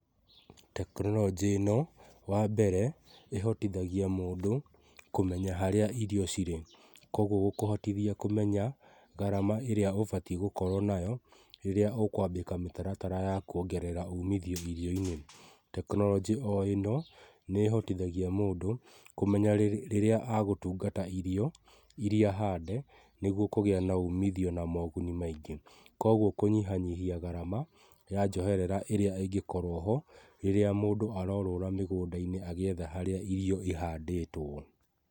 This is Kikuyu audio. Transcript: Tekinoronjĩ ĩno wambere ĩhotithagia mũndũ kũmenya harĩa irio cirĩ kogũo gũkũhotithia kũmenya ngarama ĩrĩa ũbatie gũkorwo nayo rĩrĩa ũkwambĩka mĩtaratara ya kwongerera ũmithio irio-inĩ, tekinoronjĩ o ĩno nĩ ĩhotithagia mũndũ kũmenya rĩrĩa agũtungata irio iria hande nĩgũo kũgĩa na ũmithio na mogũni maingĩ kogũo kũnyihanyihia ngarama ya njoherera ĩrĩa ingĩkorwo ho rĩrĩa mũndũ arorũra mĩgũnda-inĩ agĩetha harĩa irio ihandĩtwo.